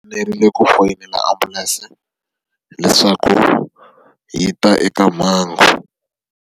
fanerile ku foyinela ambulense leswaku yi ta eka mhangu.